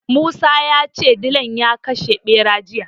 Musa ya ce dilan ya kashe ɓeran jiya.